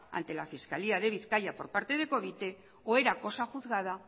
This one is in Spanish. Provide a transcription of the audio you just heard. ante la fiscalía de bizkaia por parte de covite o era cosa juzgada